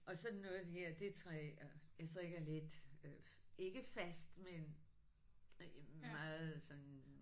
Og sådan noget her det jeg strikker lidt ikke fast men meget sådan